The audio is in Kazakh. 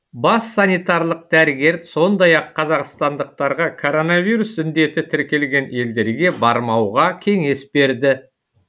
бас санитарлық дәрігер сондай ақ қазақстандықтарға коронавирус індеті тіркелген елдерге бармауға кеңес берді